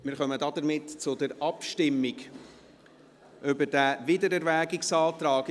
Wir kommen damit zur Abstimmung über diesen Wiedererwägungsantrag.